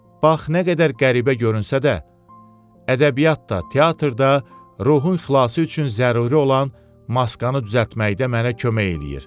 Bax nə qədər qəribə görünsə də, ədəbiyyat da, teatr da ruhun xilası üçün zəruri olan maskanı düzəltməkdə mənə kömək eləyir.